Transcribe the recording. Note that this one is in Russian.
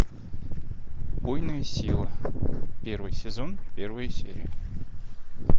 убойная сила первый сезон первая серия